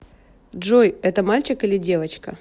джой это мальчик или девочка